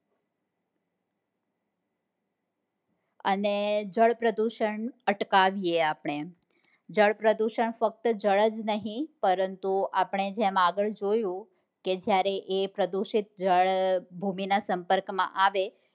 અને જળ પ્રસદુષણ અટકાવીએ આપડે જળ પ્રાદુહન ફક્ત જળ જ નહિ પરંતુ આપણે જેમ આગળ જોયું કે જયારે પ્રદુષિત જળ ભૂમિ ના સંપર્ક માં આવે